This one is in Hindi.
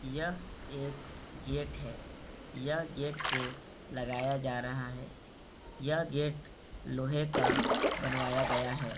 यह एक गेट है यह गेट को लगाया जा रहा है यह गेट लोहे का बनवाया गया है।